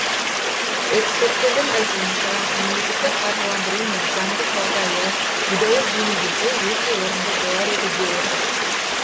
эксперттердің айтуынша мемлекеттік қаржыландыру мен заңдық жағдайы едәуір жеңілдесе өте орынды болар еді деп отыр